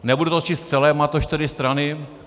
Nebudu to číst celé, má to čtyři strany.